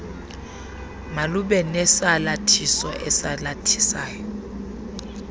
malube nesalathiso esalathisa